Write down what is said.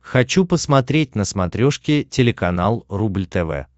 хочу посмотреть на смотрешке телеканал рубль тв